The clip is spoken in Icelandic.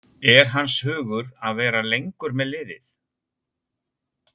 Er hans hugur að vera lengur með liðið?